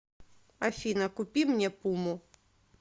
афина купи мне пуму